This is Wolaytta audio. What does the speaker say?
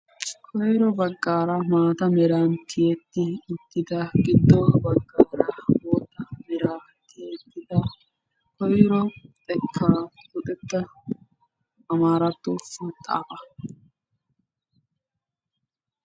koyro baggaara maata meraan tiyetti uttida giddo baggaara bootta meraa tiyettida koyro xeekkaa luxetta amaaratto maxaafaa.